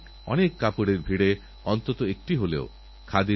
প্রতিদিনেরজীবনে এইসব সমস্যার প্রযুক্তিগত সমাধান খুঁজতে হবে